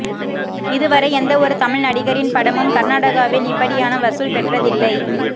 இதுவரை எந்தவொரு தமிழ் நடிகரின் படமும் கர்நாடகாவில் இப்படியான வசூல் பெற்றதில்லை